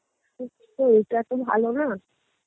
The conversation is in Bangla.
এটা তো ভালো না